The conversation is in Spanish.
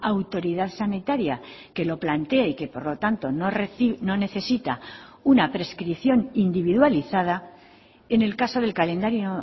autoridad sanitaria que lo plantee y que por lo tanto no necesita una prescripción individualizada en el caso del calendario